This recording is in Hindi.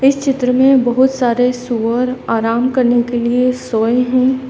इस चित्र में बहुत सारे सूअर आराम करने के लिए सोए हैं।